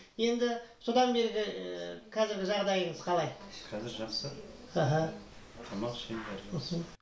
енді содан бергі ііі қазіргі жағдайыңыз қалай қазір жақсы іхі тамақ ішемін бәрі жақсы мхм